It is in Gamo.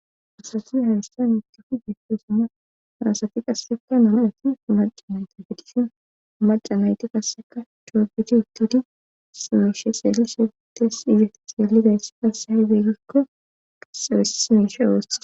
asati harissa mikefu desso suma farasati qasseka nam'ati maca nayte gedishin maca nayti qasseka coobidi uttidi simeishe seeli setes ize xeeliday passe hahe deeggikko qasee simeshe oose